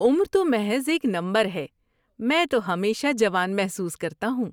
عمر تو محض ایک نمبر ہے۔ میں تو ہمیشہ جوان محسوس کرتا ہوں۔